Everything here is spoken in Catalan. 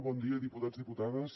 bon dia diputats i diputades